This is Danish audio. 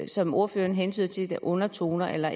som ordføreren hentyder til er undertoner eller